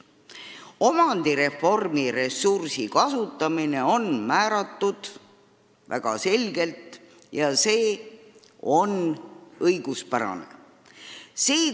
Omandireformi reservfondi ressursi kasutamine on kindlaks määratud väga selgelt ja see on igati õiguspärane.